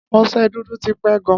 Ọ̀se dùdù tí pẹ gan